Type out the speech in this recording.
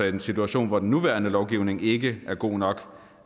en situation hvor den nuværende lovgivning ikke er god nok